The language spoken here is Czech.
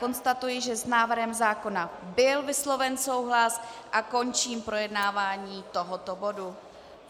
Konstatuji, že s návrhem zákona byl vysloven souhlas, a končím projednávání tohoto bodu.